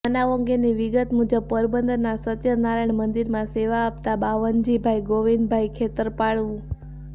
બનાવ અંગેની વિગત મુજબ પોરબંદરના સત્યનારાયણ મંદિરમાં સેવા આપતા બાવનજીભાઈગોવિંદભાઈ ખેતરપાળ ઉ